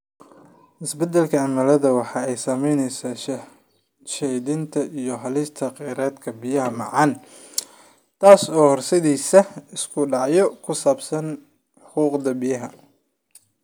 Isbeddelka cimiladu waxa ay saamaynaysaa sahayda iyo helista kheyraadka biyaha macaan, taas oo horseedaysa isku dhacyo ku saabsan xuquuqda biyaha.